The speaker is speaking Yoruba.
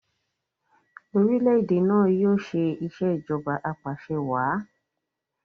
orilẹ-ède náa yóò ṣe Ìṣèjọba Apaṣẹwàá